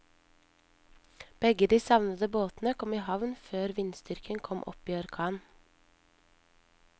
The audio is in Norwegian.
Begge de savnede båtene kom i havn før vindstyrken kom opp i orkan.